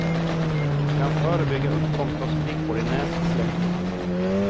Kan förebygga uppkomst av sprickor i nässlemhinnan.